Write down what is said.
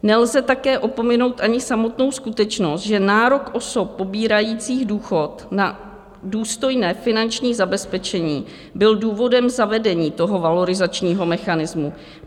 Nelze také opominout ani samotnou skutečnost, že nárok osob pobírajících důchod na důstojné finanční zabezpečení byl důvodem zavedení toho valorizačního mechanismu.